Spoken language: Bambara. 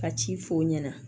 Ka ci f'o ɲɛna